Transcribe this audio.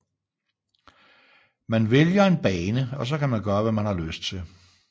Man vælger en bane og så kan man gøre hvad man har lyst til